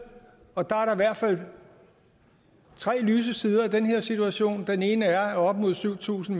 og der er i hvert fald tre lyse sider af den her situation den ene er at op imod syv tusind